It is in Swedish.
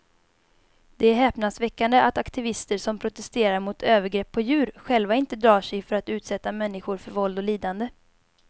Det är häpnadsväckande att aktivister som protesterar mot övergrepp på djur själva inte drar sig för att utsätta människor för våld och lidande.